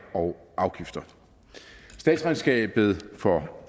og afgifter statsregnskabet for